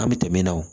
An bɛ tɛmɛ na o